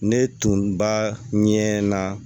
Ne tun ba ɲɛ na